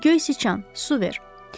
Göy siçan, su ver.